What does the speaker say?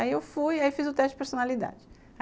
Aí eu fui e fiz o teste de personalidade.